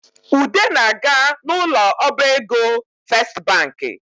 Ude na-aga n’ ụlọ ọbaego festibanki